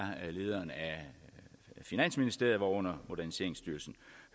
lederen af finansministeriet hvorunder moderniseringsstyrelsen